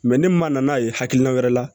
ne ma na n'a ye hakilina wɛrɛ la